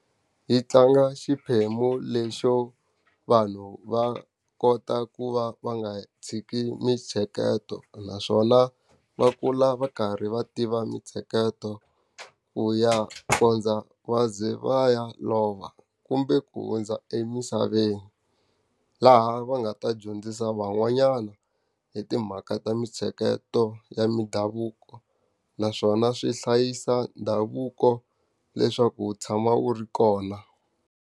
Yi tlanga xiphemu lexo, vanhu va kota ku va va nga tshiki mintsheketo naswona va kula va karhi va tiva mintsheketo ku ya kondza va ze va ya lova kumbe ku hundza emisaveni. Laha va nga ta dyondzisa van'wanyana hi timhaka ta mintsheketo ya mindhavuko. Naswona swi hlayisa ndhavuko leswaku wu tshama wu ri kona.